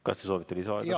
Kas te soovite lisaaega?